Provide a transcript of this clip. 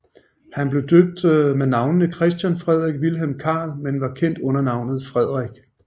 Han blev døbt med navnene Christian Frederik Vilhelm Carl men var kendt under navnet Frederik